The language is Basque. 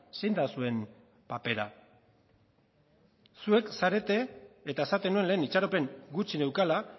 zein da zuen papera zuek zarete eta esaten nuen lehen itxaropen gutxi neukala